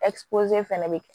fɛnɛ be kɛ